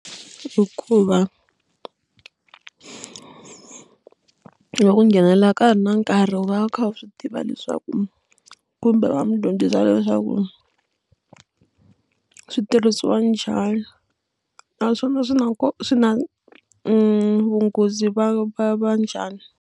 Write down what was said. Hikuva loko u nghenelela ka ha ri na nkarhi u va u kha u swi tiva leswaku kumbe va n'wi dyondzisa leswaku swi tirhisiwa njhani naswona swi na swi na vunghozi va va va njhani.